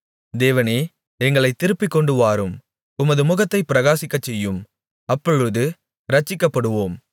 தேவனே எங்களைத் திருப்பிக் கொண்டுவாரும் உமது முகத்தைப் பிரகாசிக்கச்செய்யும் அப்பொழுது இரட்சிக்கப்படுவோம்